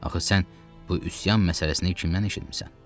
Axı sən bu üsyan məsələsini kimdən eşitmisən?